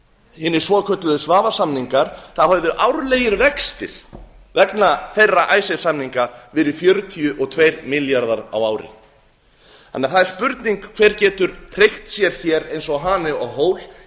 hina svokölluðu svavarssamningum hefðu árlegir vextir vegna þeirra icesave samninga verið fjörutíu og tveir milljarðar á ári það er því spurning hver gert hreykt sér hér eins og hani á hól